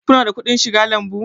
Ku na da kuɗin shiga lambu?